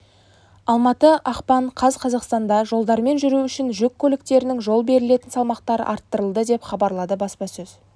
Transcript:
алматы ақпан қаз қазақстанда жолдармен жүру үшін жүк көліктерінің жол берілетін салмақтары арттырылды деп хабарлады баспасөз